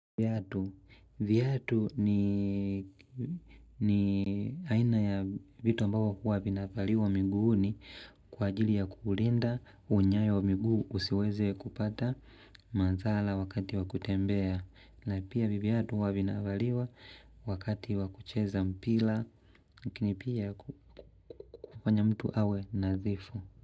Viatu ni aina ya vitu ambavyo huwa vinavaliwa miguuni kwa ajili ya kulinda unyayo wa miguu usiweze kupata madhara wakati wa kutembea. Na pia viatu huwa vinavaliwa wakati wa kucheza mpira. Lakini pia kufanya mtu awe nadhifu.